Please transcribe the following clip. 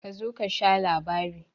Kazo kasha labari.